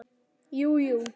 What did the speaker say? Jú, jú.